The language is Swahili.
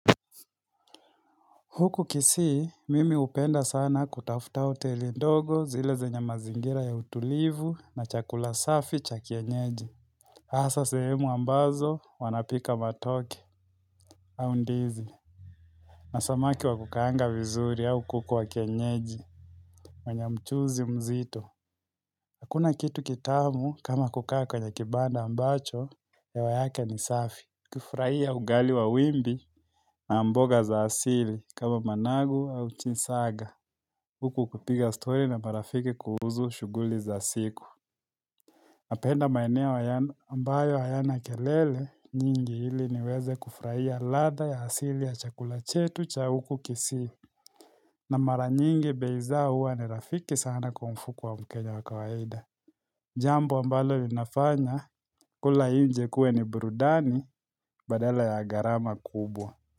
Huku kisii, mimi hupenda sana kutafuta hoteli ndogo zile zenye mazingira ya utulivu na chakula safi cha kienyeji. Hasa sehemu ambazo wanapika matoke au ndizi. Na samaki wa kukaanga vizuri au kuku wa kienyeji. Wenye mchuzi mzito. Hakuna kitu kitamu kama kukaa kwenye kibanda ambacho hewa yake ni safi. Kufurahia ugali wa wimbi na mboga za asili kama managu au chinsaga. Huku kupiga stori na marafiki kuhusu shughuli za siku Napenda maeneo ambayo hayana kelele nyingi ili niweze kufurahia ladha ya asili ya chakula chetu cha huku kisii na mara nyingi bei zao huwa ni rafiki sana kwa mfuko wa mkenya wa kawaida Jambo ambalo linafanya kula nje kuwe ni burudani badala ya gharama kubwa.